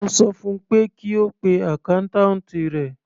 Mo sọ fun pé kí ó pe accountant rẹ̀.